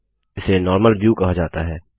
इसे normal view कहा जाता है